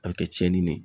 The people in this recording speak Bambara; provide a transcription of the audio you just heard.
A bɛ kɛ tiɲɛni ye